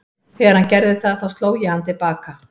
Þegar hann gerði það þá sló ég hann til baka.